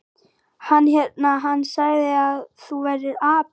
Hann hérna. hann sagði að þú værir api.